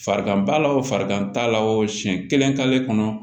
Farigan b'a la o farigan t'a la o siyɛn kelen k'ale kɔnɔ